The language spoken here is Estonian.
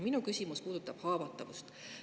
Minu küsimus puudutab haavatavust.